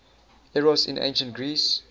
eros in ancient greece